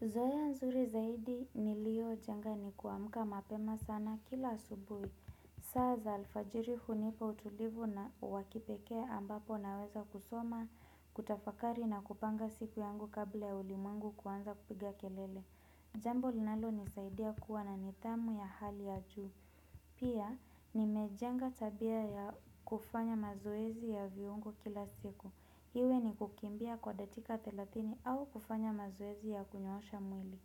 Zoea nzuri zaidi nilio jenga ni kuamuka mapema sana kila subuhi. Saa za alfajiri hunipa utulivu na wakipekee ambapo naweza kusoma, kutafakari na kupanga siku yangu kabla ya ulimwengu kuanza kupiga kelele. Jambo linalo nisaidia kuwa na nidhamu ya hali ya juu. Pia nimejenga tabia ya kufanya mazowezi ya viungo kila siku. Iwe ni kukimbia kwa dakika thelathini au kufanya mazowezi ya kunyoosha mwili.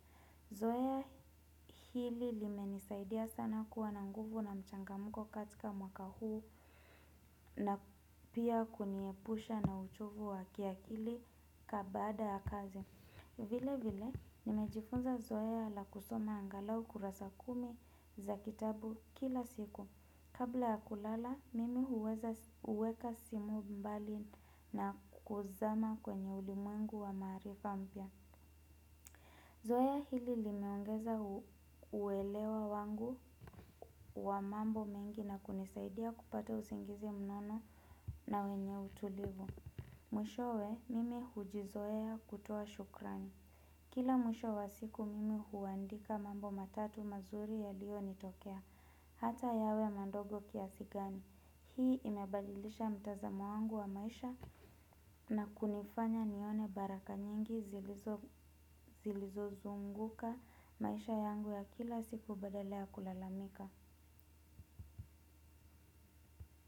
Zoea hili limenisaidia sana kuwa na nguvu na mchangamko katika mwaka huu na pia kuniepusha na uchovu wa kiakili kabaada ya kazi. Vile vile nimejifunza zoea la kusoma angalau kurasa kumi za kitabu kila siku. Kabla ya kulala, mimi huweza kuweka simu mbali na kuzama kwenye ulimwengu wa maarifa mpya. Zoea hili linaongeza uwelewa wangu wa mambo mengi na kunisaidia kupata usingizi mnono na wenye utulivu. Mwishowe, mimi hujizoea kutoa shukrani. Kila mwisho wa siku, mimi huandika mambo matatu mazuri ya lio nitokea. Hata yawe madongo kiasi gani. Hii inabadilisha mtazamo wangu wa maisha na kunifanya nione baraka nyingi zilizo zilizo zunguka maisha yangu ya kila siku badala ya kulalamika.